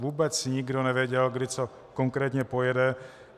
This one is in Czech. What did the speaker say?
Vůbec nikdo nevěděl, kdy co konkrétně pojede.